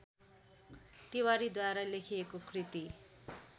तिवारीद्वारा लेखिएको कृति